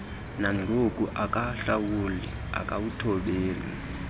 nangoku akahlawuli akawuthobeli